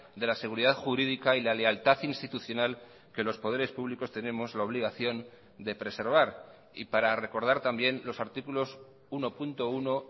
de la seguridad jurídica y la lealtad institucional que los poderes públicos tenemos la obligación de preservar y para recordar también los artículos uno punto uno